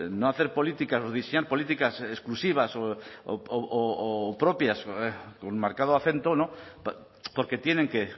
no hacer políticas o diseñar políticas exclusivas o propias con marcado acento no porque tienen que